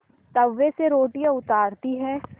तवे से रोटियाँ उतारती हैं